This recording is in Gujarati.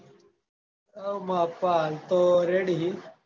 હવ માર પપ્પા હાલ તો ready હિ